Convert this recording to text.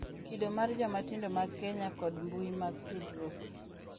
Kido mar joma tindo mag Kenya kod mbui mag tudruok